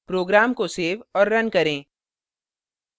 program को save और run करें